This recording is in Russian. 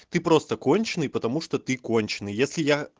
ты просто конченый потому что ты конченый если я